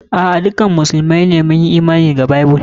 A'a, dukkan mu musulmai mun Imani da Bible.